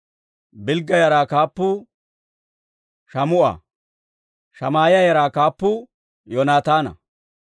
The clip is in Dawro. Bilgga yaraa kaappuu Shaamu'a. Shamaa'iyaa yaraa kaappuu Yoonataana.